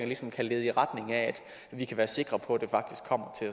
ligesom kan lede i retning af at vi kan være sikre på at det faktisk kommer til